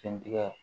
Sen tigɛ